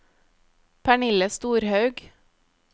Pernille Storhaug